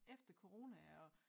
Efter Corona og